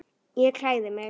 Ég klæði mig.